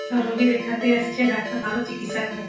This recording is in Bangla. সব রুগী দেখাতে আসছে। ডাক্তার ভালো চিকিৎসা করে